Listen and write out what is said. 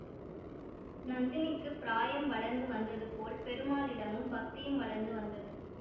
நந்தினிக்குப் பிராயம் வளர்ந்து வந்தது போல் பெருமாளிடமும் பக்தியும் வளர்ந்து வந்தது